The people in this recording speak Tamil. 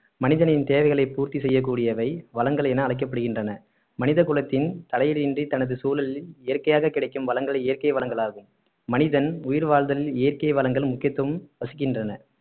மனிதனின் தேவைகளை பூர்த்தி செய்யக்கூடியவை வளங்கள் என அழைக்கப்படுகின்றன மனித குலத்தின் தலையீடு இன்றி தனது சூழலில் இயற்கையாக கிடைக்கும் வளங்களே இயற்கை வளங்களாகும் மனிதன் உயிர் வாழ்தலில் இயற்கை வளங்கள் முக்கியத்துவம் வசிக்கின்றன